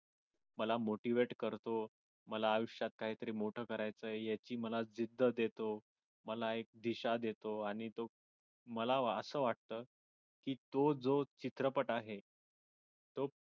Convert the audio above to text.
मला motivate करतो मला आयुष्यात काहीतरी मोठं करायचय याची मला जिद्द देतो. मला एक दिशा देतो आणि तो मला असं वाटतं की तो जो चित्रपट आहे तो